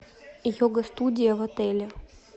йога студия в отеле